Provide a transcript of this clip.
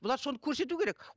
бұлар соны көрсету керек